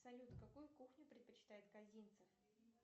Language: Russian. салют какую кухню предпочитает козинцев